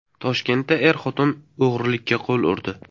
Toshkentda er-xotin o‘g‘irlikka qo‘l urdi.